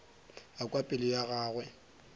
a kwa pelo ya gagwe